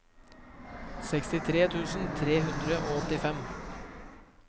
sekstitre tusen tre hundre og åttifem